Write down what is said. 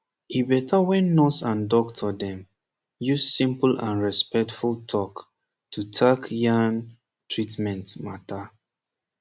e beta wen nurse and doctor dem use simple and respectful talk to tak yan treatment mata